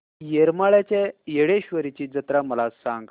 येरमाळ्याच्या येडेश्वरीची जत्रा मला सांग